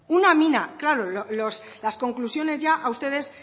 una mina claro las conclusiones ya a ustedes